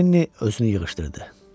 Lenni özünü yığışdırdı.